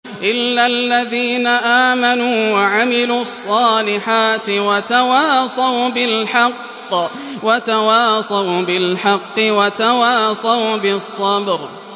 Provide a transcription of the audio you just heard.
إِلَّا الَّذِينَ آمَنُوا وَعَمِلُوا الصَّالِحَاتِ وَتَوَاصَوْا بِالْحَقِّ وَتَوَاصَوْا بِالصَّبْرِ